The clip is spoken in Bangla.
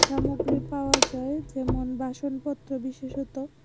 সামগ্রি পাওয়া যায় যেমন বাসনপত্র বিশেষত।